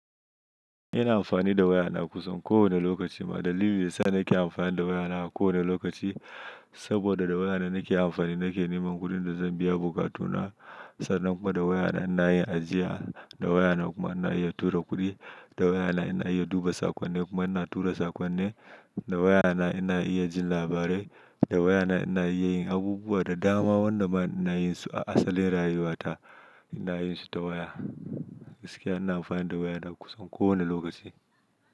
Ina amfani da waya na kusan ko wane lokaci. Ma ɗalilin dayasa' nake amfani da waya na a ko wane lokaci saboda da waya na nake amfani nake neman kuɗin da zan biya bokatu na. Sannan kuma da waya na ina yin ajiya. Da waya na kuma ina iya tura kuɗi. Da waya na ina iya duba saƙonni kuma ina tura saƙonni. Da waya na ina iya jin labarai. Da waya na ina iya yin abubuwa da dama wanda ina yin su a asali rayuwa ta ina yin su ta waya. Gaskiya ina amfani da waya na kusan ko wane lokaci.